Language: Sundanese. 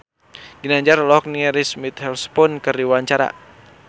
Ginanjar olohok ningali Reese Witherspoon keur diwawancara